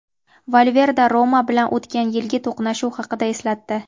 Valverde "Roma" bilan o‘tgan yilgi to‘qnashuv haqida eslatdi.